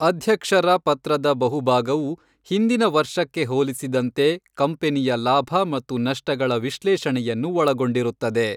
ಅಧ್ಯಕ್ಷರ ಪತ್ರದ ಬಹುಭಾಗವು ಹಿಂದಿನ ವರ್ಷಕ್ಕೆ ಹೋಲಿಸಿದಂತೆ ಕಂಪನಿಯ ಲಾಭ ಮತ್ತು ನಷ್ಟಗಳ ವಿಶ್ಲೇಷಣೆಯನ್ನು ಒಳಗೊಂಡಿರುತ್ತದೆ.